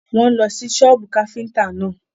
Wọ́n ń lọ sí sọ́bù káfíntà náà.